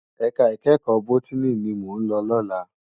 Èká ikèékò bótìní ni mó n lò lòlá